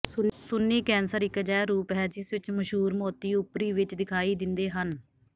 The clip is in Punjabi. ਸੁੰਨ੍ਹੀ ਕੈਂਸਰ ਇਕ ਅਜਿਹਾ ਰੂਪ ਹੈ ਜਿਸ ਵਿਚ ਮਸ਼ਹੂਰ ਮੋਤੀ ਉਪਰੀ ਵਿਚ ਦਿਖਾਈ ਦਿੰਦੇ ਹਨ